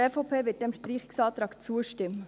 Die EVP wird diesem Streichungsantrag zustimmen.